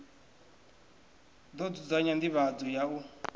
ḓo dzudzanya nḓivhadzo ya u